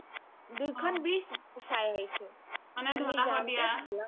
দুইখন bridge চাই আহিছো